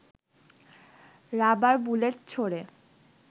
rubber bullet ছোড়ে